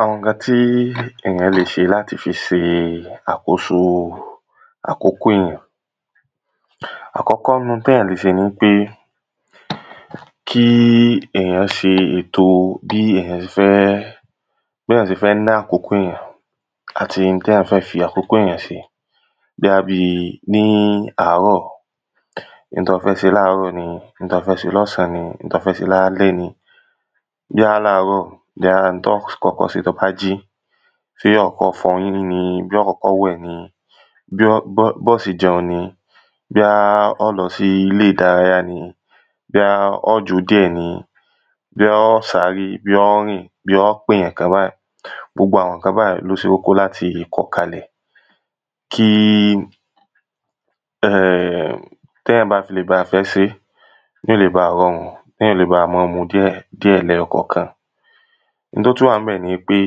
Àwọn nǹkan tí èyàn le ṣe láti fi ṣe àkóso àkókò. Àkọ́kọ́ nínú ntéyàn le ṣe nipé kí èyàn ṣe ètò béyàn ṣe fẹ́ béyàn ṣe fẹ́ lo àkókò èyàn àti ohun téyàn fẹ́ fi àkókò èyàn ṣe bóyá bí ní àárọ̀ n tó fẹ́ ṣe láàrọ̀ ni n tó fẹ́ ṣe lọ́sàn ni n tó fẹ́ ṣe lálẹ́ ni. Bóyá làárọ̀ bóyá n tó kọ́kọ́ ṣe tó bá jí bó kọ́kọ́ fọyín ni bó kọ́kọ́ wẹ̀ ni bó bó bó ṣe jẹun ni bóyá bóyá ó lọ sílé ìdárayá ni bóyá ó jó díẹ̀ ni bóyá ó sáré bóyá ó rìn bóyá ó pèyàn kan wá gbogbo àwọn nǹkan báyìí ni ó ṣe pàtàkì láti kọ kalẹ̀ kí um téyàn bá ti le bá fẹ́ ṣé yó le ba rọrùn téyàn ó le bá mọ́ mú díẹ̀ díẹ̀ lẹ́yọkọ̀kan. Ohun tó tún wà ńbẹ̀ nipé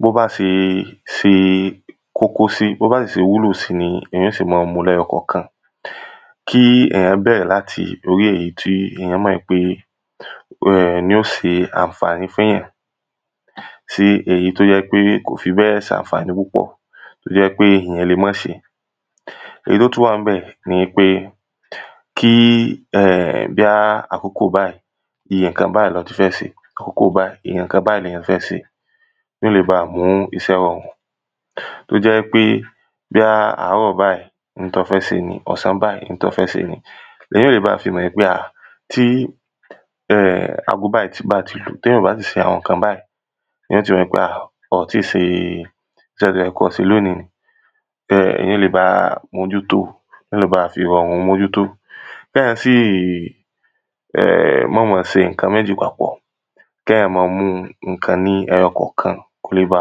bó bá ṣe ṣe kókó sí bó bá sì ṣe wúlò sí ni èyàn ó ṣe má mú lẹ́yọkọ̀kan kí èyàn bẹ̀rẹ̀ lórí èyí tí èyàn mọ̀ pé ohun ni ó se ànfàní fún yàn sí èyí tó jẹ́ pé ko fi bẹ́ẹ̀ sànfàní púpọ̀ tó jẹ́ pé èyàn le mọ́ ṣe. Èyí tó tún wà ńbẹ̀ ni wípé kí um bóyá àkókò báyìí iye nǹkan báyìí lo tún fẹ́ ṣe àkókò báyìí iye nǹkan báyìí lo tún fẹ́ ṣe kó le ba mú iṣẹ́ rorùn tó jẹ́ wípé bóyá àárọ̀ báyìí n tó fẹ́ se nìí ọ̀sán báyìí n tó fẹ́ se nìyí. Lèyàn ó le ba fi mọ̀ pé tí um ago báyìí bá ti lù téyàn ò bá ti ṣe àwọn nǹkan báyìí yó ti rí pé ah o ti ṣe iṣẹ́ tó yẹ kó ṣe lónìí um èyàn ó le ba mójútó èyàn ó le ba mójútó kéyàn sì mọ́ mọ ṣe nǹkan méjì papọ̀ kéyàn mọ́ mú nǹkan ní ẹyọkọ̀kan kó le bá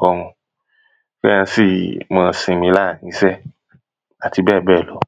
rọrùn tí a fi mọ́ sinmi láàrin iṣẹ́ àti bẹ́ẹ̀ bẹ́ẹ̀ lọ.